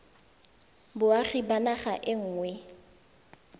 boagi ba naga e nngwe